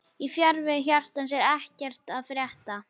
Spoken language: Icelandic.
Í fjarveru hjartans er ekkert að frétta